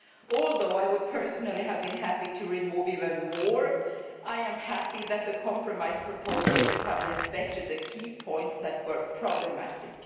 Although I would personally have been happy to remove even more, I am happy that the compromise proposals have respected the key points that were problematic.